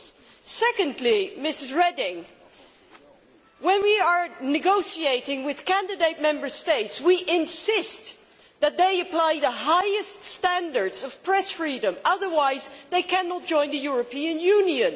6. Secondly, Mrs Reding, when we are negotiating with candidate states, we insist that they apply the highest standards of press freedom, otherwise they cannot join the European Union.